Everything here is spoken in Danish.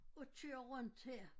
Og kører rundt her